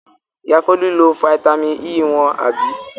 Ìyá Folú lo fataímìn E wọn, àbí?